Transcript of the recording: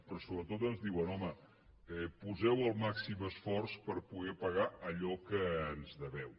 però sobretot ens diuen home poseu el màxim esforç per poder pagar allò que ens deveu